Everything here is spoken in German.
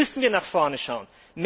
Jetzt müssen wir nach vorne schauen!